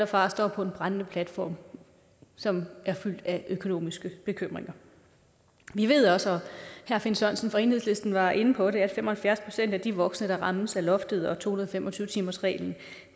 faren står på en brændende platform som er fyldt af økonomiske bekymringer vi ved også herre finn sørensen fra enhedslisten var inde på det at fem og halvfjerds procent af de voksne der rammes af loftet og to hundrede og fem og tyve timersreglen